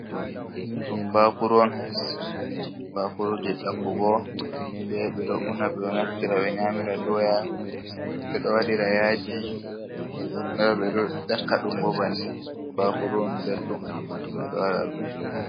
Ɗo ɗum bakuru on bakuru je yakkugo be ɓeɗo una be naftira be nyamira doya ɓeɗo waɗira yaji nden bo ɓeɗo yakkaɗum bo bannin bakuru on beldum bedo wada.